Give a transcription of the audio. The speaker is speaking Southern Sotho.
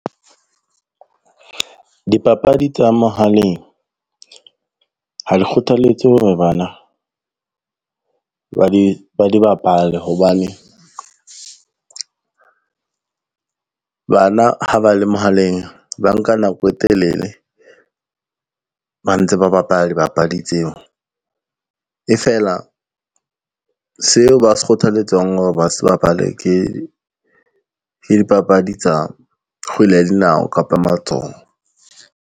Dipapadi tsa mohaleng ha di kgothaletse hore bana ba di bapale hobane, bana ha ba le mohaleng ba nka nako e telele ba ntse ba bapala dibapadi tseo. E fela seo ba se kgothaletsang hore ba se bapale ke dipapadi tsa kgwele ya dinao kapa ya matsoho.